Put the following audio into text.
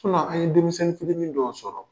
An ye denmisɛnni fitini dɔw sɔrɔ.